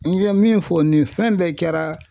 N ye min fɔ nin fɛn bɛɛ kɛra